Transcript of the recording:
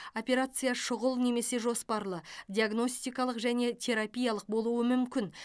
операция шұғыл немесе жоспарлы диагностикалық және терапиялық болуы мүмкін